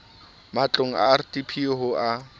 matlong a rdp ho a